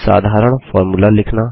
साधारण फॉर्मूला लिखना